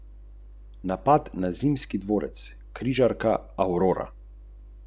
V osmi minuti so imeli gostitelji dva igralca več.